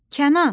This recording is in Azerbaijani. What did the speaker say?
Kənan!